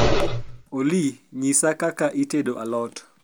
olly nyisa kaka itedo a lot